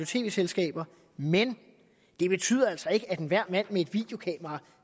tv selskaber men det betyder altså ikke at enhver mand med et videokamera